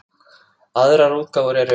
Aðrar útgáfur eru